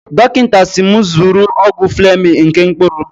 Dọkịta siiri m zụrụ ọgwụ Flemin nke mkpụrụ.